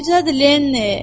Necədir Leni?